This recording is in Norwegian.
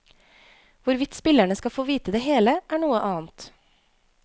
Hvorvidt spillerne skal få vite det hele, er noe annet.